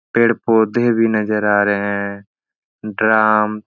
पेड़ पौधे भी नज़र आ रहे हैं। ड्राम --